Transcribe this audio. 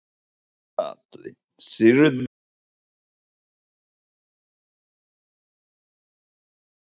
Gunnar Atli: Sigríður, hverju mega áhorfendur eiga von á í ár?